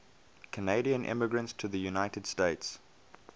canadian immigrants to the united states